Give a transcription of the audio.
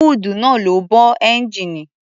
Húùdù náà ló bo ẹ́ńgijíìnì.